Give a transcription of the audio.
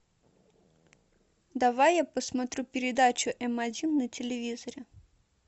давай я посмотрю передачу м один на телевизоре